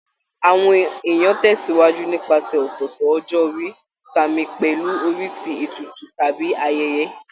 Àwọn èèyàn tẹ̀sìwájú nípasẹ̀ ọ̀tọ̀ọ̀tọ̀ ọjọ́ orí, sààmì pẹ̀lú oríṣi ètùtù tàbí ayẹyẹ